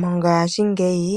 Mongaashingeyi